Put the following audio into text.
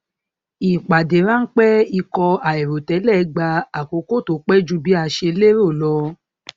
ìpàdé ránpẹ ikọ àìrò tẹlẹ gba àkókò tó pẹ ju bí a ṣe lérò lọ